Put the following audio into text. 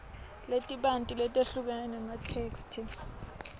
letibanti letehlukene tematheksthi